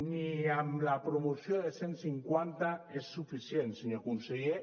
ni amb la promoció de cent cinquanta és suficient senyor conseller